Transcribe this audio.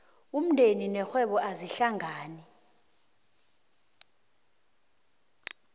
umndeni nerhwebo azihlangani